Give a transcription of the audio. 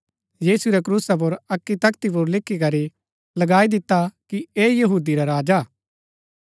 यीशु रै क्रूसा पुर अक्की तख्ती पुर लिखीकरी लगाई दिता कि ऐह यहूदी रा राजा हा